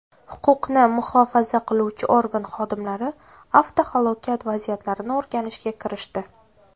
Huquqni muhofaza qiluvchi organ xodimlari avtohalokat vaziyatlarini o‘rganishga kirishdi.